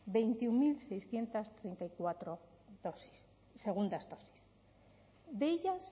veintiuno mil seiscientos treinta y cuatro dosis segundas dosis de ellas